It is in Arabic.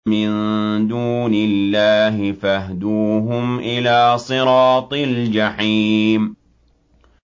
مِن دُونِ اللَّهِ فَاهْدُوهُمْ إِلَىٰ صِرَاطِ الْجَحِيمِ